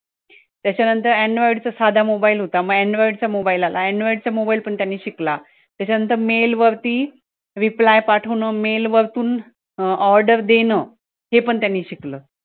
त्याच्यानंतर android चा साधा mobile होता android म android चा mobile आला मग android चा mobile पण त्यांनी शिकला, त्याच्यानंतर mail वरती reply पाठवणं, mail वरतून order देणं हे पण त्यांनी शिकलं